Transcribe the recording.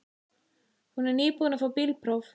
Hún er nýbúin að fá bílpróf.